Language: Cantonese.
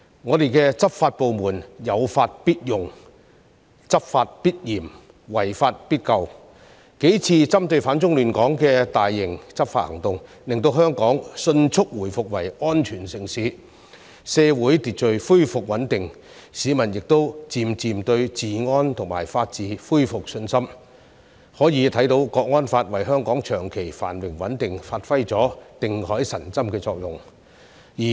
我們的執法部門有法必用、執法必嚴、違法必究，數次針對反中亂港分子的大型執法行動，令香港迅速回復為安全城市，社會秩序恢復穩定，市民亦漸漸對治安和法治恢復信心，可以看到《香港國安法》為香港長期繁榮穩定發揮了定海神針的作用。